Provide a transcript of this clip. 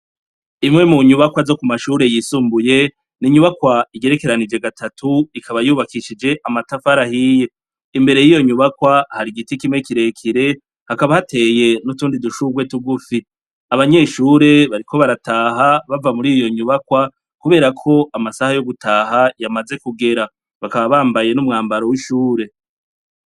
Imwe mu nyubakwa zo ku mashure yisumbuye ni inyubakwa igerekeranije gatatu ikaba yubakishije amatafarahiye imbere y'iyo nyubakwa hari igiti kimwe kirekire hakaba hateye n'utundi dushurwe tuwufi abanyeshure bariko barataha bava muri iyo nyubakwa, kubera ko amasaha yo gutaha yamazekue gera bakabambaye n'umwambaro w'ishure.